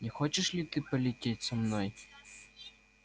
не хочешь ли ты полететь со мной